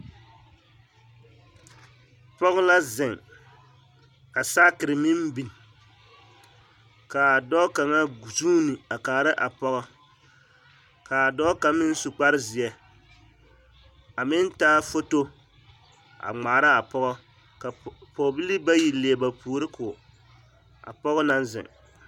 Pɔge la zeŋ ka saakere meŋ biŋ ka dɔɔ kaŋa zuuni a kaara a pɔgɔ ka dɔɔ kaŋ meŋ su kpare zeɛ a meŋ taa foto a ŋmaara a pɔgɔ ka pɔɔbilii bayi leɛ ba puori ko a pɔge naŋ zeŋ.